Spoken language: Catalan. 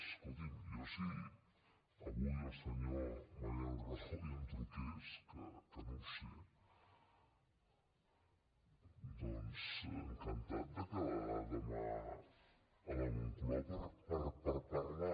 escolti’m jo si avui el senyor mariano rajoy em truqués que no ho sé doncs encantat de quedar demà a la moncloa per a parlar